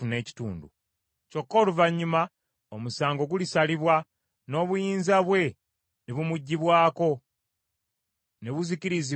“ ‘Kyokka oluvannyuma omusango gulisalibwa, n’obuyinza bwe ne bumuggyibwako, ne buzikiririzibwa ddala.